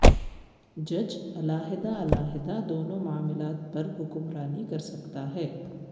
جج علیحدہ علیحدہ دونوں معاملات پر حکمرانی کرسکتا ہے